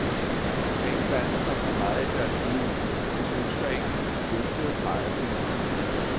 Man skal ikke blande sig for meget i deres liv, for de ønsker ikke løftede pegefingre.